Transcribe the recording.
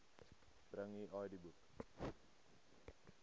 bring u idboek